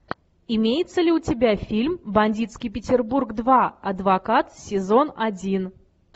имеется ли у тебя фильм бандитский петербург два адвокат сезон один